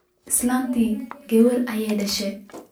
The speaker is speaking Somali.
Islanteydhi gawar aya dashe.